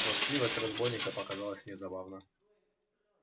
хвастливость разбойника показалась мне забавна